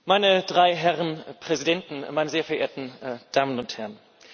Meine drei Herren Präsidenten, meine sehr verehrten Damen und Herren!